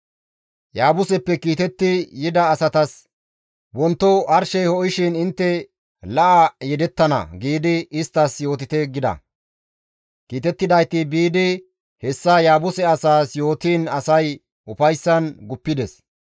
Yaabuseppe kiitetti yida asatas, « ‹Wonto arshey ho7ishin intte la7a yedettana› giidi isttas yootite» gida. Kiitettidayti biidi hessa Yaabuse asaas yootiin asay ufayssan guppides.